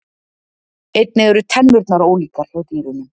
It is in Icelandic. Einnig eru tennurnar ólíkar hjá dýrunum.